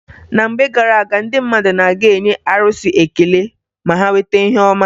Na mgbe gara aga, ndị mmadụ na-aga enye arụsị ekele ma ha nweta ihe ọma.